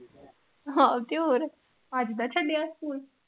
ਹਾਂ ਤੇ ਹੋਰ ਅੱਜ ਦਾ ਛੱਡਿਆ ਸਕੂਲ।